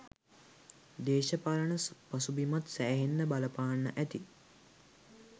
දේශපාලන පසුබිමත් සෑහෙන්න බලපාන්න ඇති.